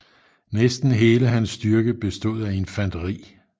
Næsten hele hans styrke bestod af infanteri